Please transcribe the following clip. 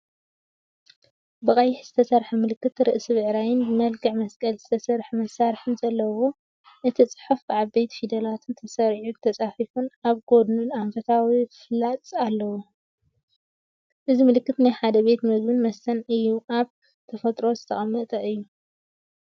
ብቀይሕ ዝተሰርሐ ምልክት፣ ርእሲ ብዕራይን ብመልክዕ መስቀል ዝተሰርሐ መሳርሒን ዘለዎ። እቲ ጽሑፍ ብዓበይቲ ፊደላት ተሰሪዑን ተጻሒፉን፡ ኣብ ጎድኑ ኣንፈታዊ ፍላጻ ኣሎ። እዚ ምልክት ናይ ሓደ ፡ ቤት ምግብን መስተን እዩኣብ ተፈጥሮ ዝተቐመጠ'ዩ።